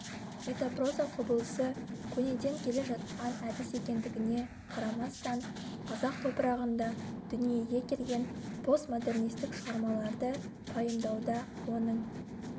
метапроза құбылысы көнеден келе жатқан әдіс екендігіне қарамастан қазақ топырағында дүниеге келген постмодернистік шығармаларды пайымдауда оның